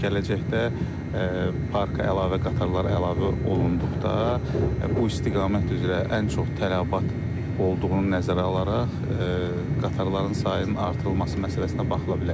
Amma gələcəkdə parka əlavə qatarlar əlavə olunduqda bu istiqamət üzrə ən çox tələbat olduğunu nəzərə alaraq qatarların sayının artırılması məsələsinə baxıla bilər.